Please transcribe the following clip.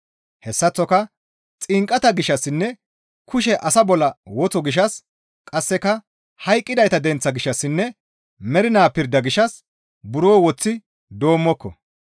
Hessaththoka xinqata gishshassinne kushe asa bolla wotho gishshas qasseka hayqqidayta denththaa gishshassinne mernaa pirda gishshas buro woththi doommoko.